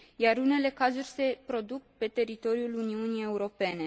Iar unele cazuri se produc pe teritoriul Uniunii Europene.